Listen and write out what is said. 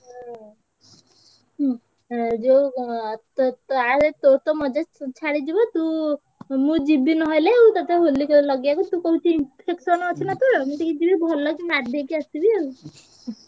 ହୁଁ ହୁଁ ଯୋଉ ମଜା ଛାଡିଯିବ ତୁ ମୁଁ ଯିବି ନହେଲେ ଆଉ ତତେ ହୋଲି ଲଗେଇବାକୁ ତୁ କହୁଛୁ infection ଅଛି ନାଁ ତୋର ମୁଁ ଟିକେ ଯିବି ଭଲକି ନାଦିଦେଇ ଆସିବି ଆଉ।